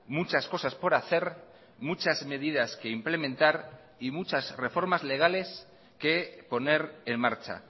muchas cosas por hacer muchas medidas que implementar y muchas reformas legales que poner en marcha